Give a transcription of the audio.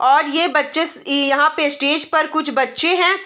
और ये बच्चें यहाँ पे स्टेज पर कुछ बच्चें हैं।